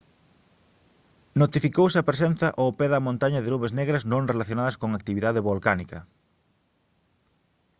notificouse a presenza ao pé da montaña de nubes negras non relacionadas con actividade volcánica